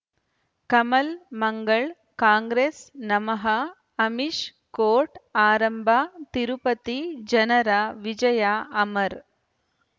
ಕಮಲ್ ಮಂಗಳ್ ಕಾಂಗ್ರೆಸ್ ನಮಃ ಅಮಿಷ್ ಕೋರ್ಟ್ ಆರಂಭ ತಿರುಪತಿ ಜನರ ವಿಜಯ ಅಮರ್